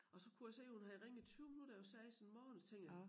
Og så kunne jeg se hun havde ringet 20 minutter over 6 en morgen så tænkte jeg